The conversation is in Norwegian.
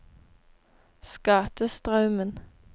Skatestraumen